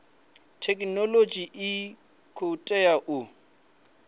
thekhinolodzhi u khou tea u